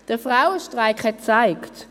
Der Frauenstreik hat gezeigt: